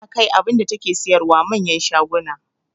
Tana kai abunda take siyarwa manyan shaguna